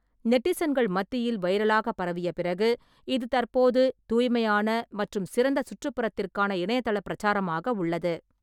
நெட்டிசன்கள் மத்தியில் வைரலாக பரவிய பிறகு, இது தற்போது தூய்மையான மற்றும் சிறந்த சுற்றுப்புறத்திற்கான இணையதள பிரச்சாரமாக உள்ளது.